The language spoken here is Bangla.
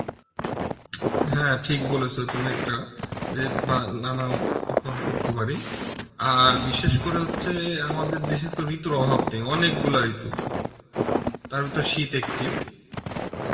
হ্যাঁ ঠিক বলেছ তুমি একটা যে বা নানা করতে পারি, আর বিশেষ করে হচ্ছে আমাদের দেশে তো ঋতুর অভাব নেই অনেকগুলো ঋতু, তার ভিতর শীত একটি